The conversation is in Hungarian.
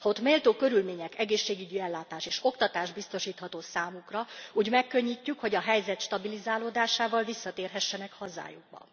Ha ott méltó körülmények, egészségügyi ellátás és oktatás biztosítható számukra, úgy megkönnyítjük, hogy a helyzet stabilizálódásával visszatérhessenek hazájukba.